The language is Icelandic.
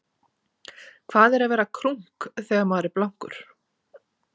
Hvað er að vera krunk þegar maður er blankur?